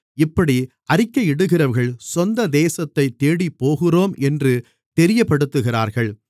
இப்படி அறிக்கையிடுகிறவர்கள் சொந்த தேசத்தை தேடிப்போகிறோம் என்று தெரியப்படுத்துகிறார்கள்